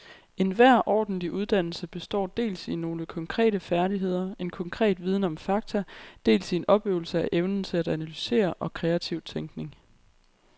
Enhver ordentlig uddannelse består dels i nogle konkrete færdigheder, en konkret viden om fakta, dels i en opøvelse af evnen til analyse og kreativ tænkning.